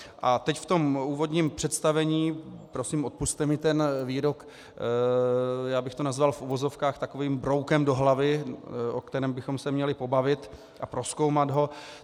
A teď v tom úvodním představení, prosím, odpusťte mi ten výrok, já bych to nazval v uvozovkách takovým broukem do hlavy, o kterém bychom se měli pobavit a prozkoumat ho.